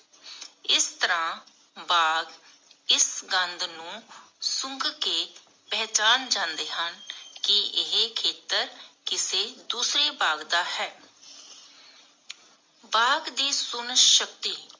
ਇਸ ਤਰਾਹ ਬਾਗ਼ ਇਸ ਗੰਦ ਨੂੰ ਸੁੰਗ ਕੇ ਪਹਿਚਾਣ ਜਾਂਦੇ ਹਨ ਕਿ ਇਹ ਖੇਤਰ ਕਿਸੇ ਦੂਸਰੇ ਬਾਗ਼ ਦਾ ਹੈ ਬਾਗ਼ ਦੀ ਸੁਨਣ ਸ਼ਕਤੀ